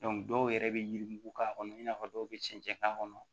dɔw yɛrɛ bɛ yirimugu k'a kɔnɔ i n'a fɔ dɔw bɛ cɛncɛn k'a kɔnɔ